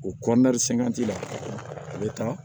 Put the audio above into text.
U la a bɛ taa